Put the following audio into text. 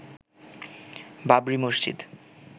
Babri Masjid